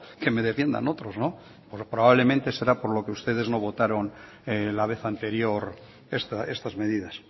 que me defiendan otros probablemente será por lo que ustedes no votaron la vez anterior estas medidas